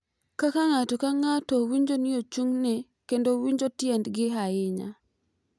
Kaka ng’ato ka ng’ato winjo ni ochung’ne kendo winjo tiendgi ahinya.